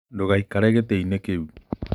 Ndũgaikare gĩtĩ-inĩ kĩu.